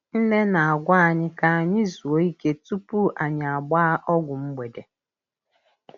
Nne na-agwa anyị ka anyị zuo ike tupu anyị agbaa ọgwụ mgbede.